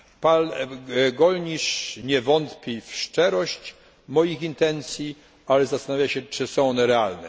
Pan Gollnisch nie wątpi w szczerość moich intencji, ale zastanawia się czy są one realne.